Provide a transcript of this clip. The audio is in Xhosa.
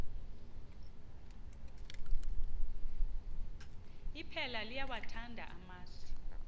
iphela liyawathanda amasi